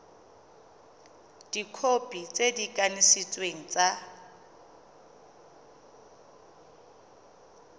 dikhopi tse di kanisitsweng tsa